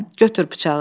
Götür bıçağı.